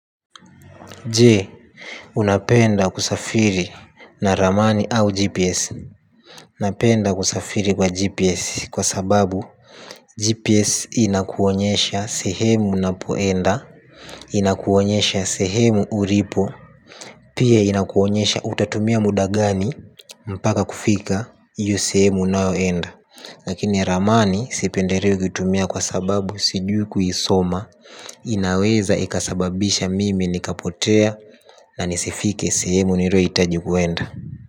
Je, unapenda kusafiri na ramani au gps? Napenda kusafiri kwa GPS kwa sababu GPS inakuonyesha sehemu unapoenda. Inakuonyesha sehemu ulipo. Pia inakuonyesha utatumia muda gani mpaka kufika hiyo sehemu unaoenda. Lakini ramani sipendelei kuitumia kwa sababu sijui kuisoma. Inaweza ikasababisha mimi nikapotea na nisifike sehemu niliyohitaji kuenda.